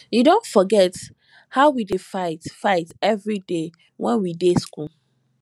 you don forget how we dey fight fight every day wen we dey school